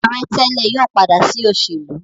Aare tele yóò pada si oselu.